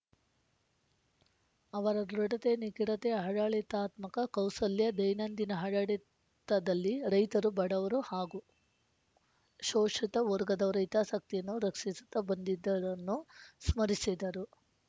ಅವರ ದೃಢತೆ ನಿಖರತೆ ಆಡಳಿತಾತ್ಮಕ ಕೌಶಲ್ಯ ದೈನಂದಿನ ಆಡಡಿತದಲ್ಲಿ ರೈತರು ಬಡವರು ಹಾಗೂ ಶೋಷಿತ ವರ್ಗದವರ ಹಿತಾಸಕ್ತಿಯನ್ನು ರಕ್ಸಿಸುತ್ತಾ ಬಂದಿದ್ದನ್ನು ಸ್ಮರಿಸಿದರು